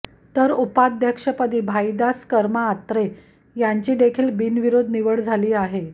तर उपाध्यक्षपदी भाईदास कर्मा आत्रे यांची देखील बिनविरोध निवड झाली आहे